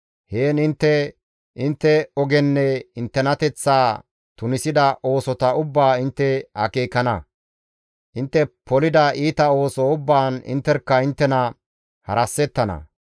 Heen intte intte ogenne inttenateththaa tunisida oosota ubbaa intte akeekana; intte polida iita ooso ubbaan intterkka inttena harasettana.